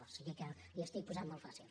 o sigui que li ho estic posant molt fàcil